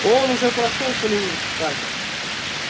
он уже прошёл полевые испытания